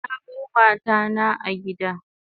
Na bar mata na a gida